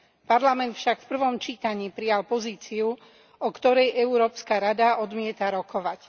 Parlament však v prvom čítaní prijal pozíciu, o ktorej Európska rada odmieta rokovať.